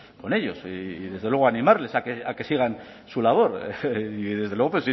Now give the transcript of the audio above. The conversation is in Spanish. con ellos y desde luego animarles a que sigan su labor y desde luego